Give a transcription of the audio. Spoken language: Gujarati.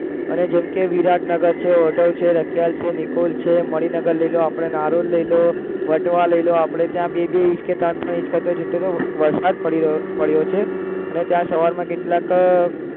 અરે જેમકે વિરાટનગર છે, હોટલ છે, રખિયાલ છે, નિકોલ છે, મણિનગર લઇ લો આપણે નારોલ લઇ લો વટવા લઇ લો આપણે ત્યાં બે બે ઇંચ કે ત્રણ ત્રણ ઇંચ કરતા જેટલો તો વરસાદ પડ્યો છે અને ત્યાં સવારમાં કેટલાક